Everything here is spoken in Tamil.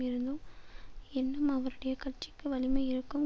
இருந்தும் என்னும் அவருடைய கட்சிக்கு வலிமை இருக்கும்